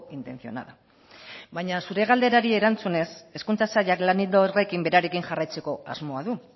intencionada baina zure galderari erantzunez hezkuntza sailak lan ildo horrekin berarekin jarraitzeko asmoa du